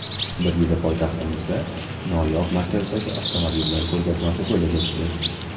Bir yili poytaxtimizda noyob markadagi avtomobillar ko‘rgazmasi bo‘lib o‘tdi.